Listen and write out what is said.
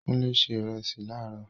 Kúnlé se ìrẹsì láró